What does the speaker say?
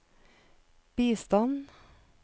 bistand